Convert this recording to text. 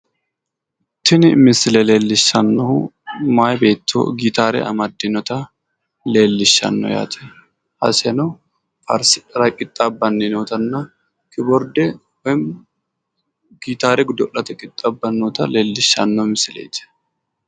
Tini misile leellishshannohu meyaa beetto gitaare amadinota leellishshanno yaate. iseno faarssidhara qixaabbanni nootanna kiboordee woyinim gitaare godo'late qixxaabbanni noota leellishshanno misileeti.